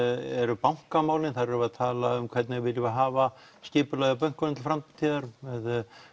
eru bankamálin þar erum við að tala um hvernig viljum við hafa skipulagið á bönkunum til framtíðar með